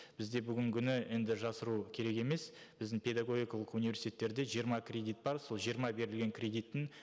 бізде бүгінгі күні енді жасыру керек емес біздің педагогикалық университеттерде жиырма кредит бар сол жиырма берілген кредиттің